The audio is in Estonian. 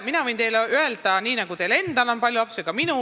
Mina võin teile öelda, et nii nagu teil endal on palju lapsi, on neid ka minul.